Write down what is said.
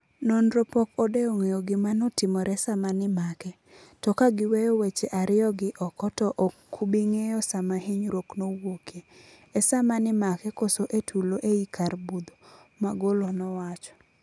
"Nonro pok odewo ng'eyo gima notimore sama nimake. To kagiweyo weche ario gi oko to okubingeyo sama hinyrwok nowuokie. E sama nimake koso e tulo ei kar budho." Magolo nowacho.